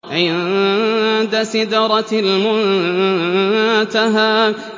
عِندَ سِدْرَةِ الْمُنتَهَىٰ